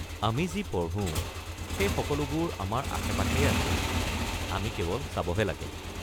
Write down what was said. আমি যি পঢ়ো, সেই সকলোবোৰ আমাৰ আশে-পাশেই আছে, আমি কেৱল চাবহে লাগে।